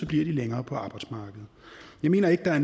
de længere på arbejdsmarkedet jeg mener ikke at